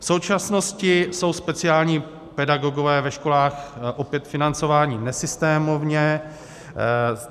V současnosti jsou speciální pedagogové ve školách opět financováni nesystémově.